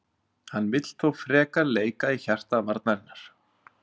Hann vill þó frekar leika í hjarta varnarinnar.